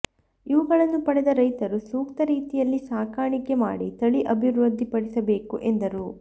ಇವುಗಳನ್ನು ಪಡೆದ ರೈತರು ಸೂಕ್ತ ರೀತಿಯಲ್ಲಿ ಸಾಕಾಣಿಕೆ ಮಾಡಿ ತಳಿ ಅಭಿವೃದ್ಧಿ ಪಡಿಸಬೇಕು ಎಂದರು